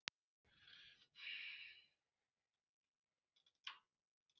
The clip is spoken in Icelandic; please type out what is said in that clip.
En hún er venjulega óskaplega alvarleg og hlær eiginlega aldrei.